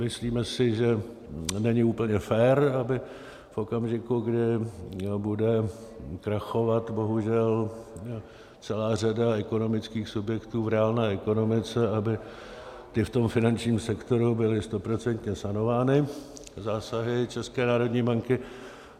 Myslíme si, že není úplně fér, aby v okamžiku, kdy bude krachovat bohužel celá řada ekonomických subjektů v reálné ekonomice, aby ty v tom finančním sektoru byly stoprocentně sanovány zásahy České národní banky.